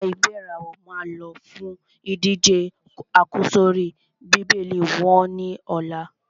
Àwọn ẹ̀gbẹ́ ìràwọ̀ máa lọ fún ìdíje àkọ́sórí Bíbélì wọ́n ní ọ̀la.